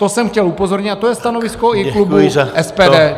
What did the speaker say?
To jsem chtěl upozornit a to je stanovisko i klubu SPD.